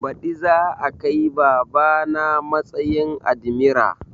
Baɗi za a kai baba na matsayin admira